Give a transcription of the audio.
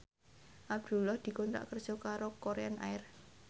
Abdullah dikontrak kerja karo Korean Air